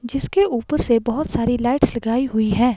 जिसके ऊपर से बहुत सारी लाइट्स लगाई हुई है।